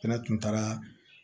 Fɛnɛ tun taara